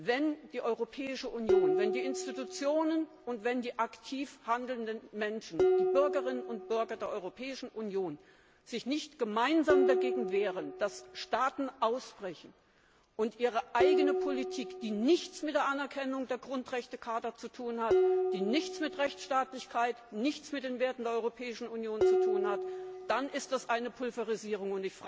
Wenn die Europäische Union, wenn die Institutionen und wenn die aktiv handelnden Menschen, die Bürgerinnen und Bürger der Europäischen Union, sich nicht gemeinsam dagegen wehren, dass Staaten ausbrechen und ihre eigene Politik verfolgen, die nichts mit der Anerkennung der Grundrechtecharta zu tun hat, die nichts mit Rechtsstaatlichkeit, nichts mit den Werten der Europäischen Union zu tun hat, dann ist das eine Pulverisierung.